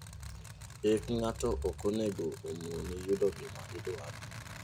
Hik ng'ato okonego omoni yudo gimaidwaro.